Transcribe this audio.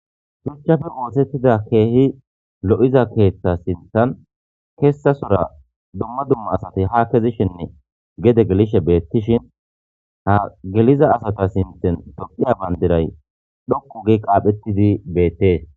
Shuchappe osetida kehippe lo'ya keethay sinthan kesatura dumma dumma asati ha keyishenne gede gelishe ha geliza asa sinthan tophiya bandiray dhoqu gidi qaxishe bettes.